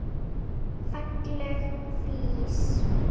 Falleg flís.